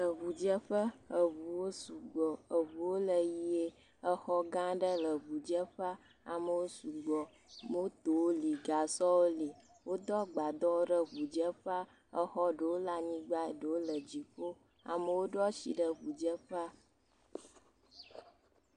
Le ŋudzeƒe, ŋuwo sugbɔ. Ŋuwo le ʋie. Xɔ gã aɖe le ŋudzeƒea. Amewo sugbɔ. Motowo li, gasɔwo li, wodo agbadɔ ɖe ŋudzeƒea. Xɔ ɖewo le anyigba, ɖewo le dziƒo. Amewo ɖo asi ɖe ŋudzeƒea.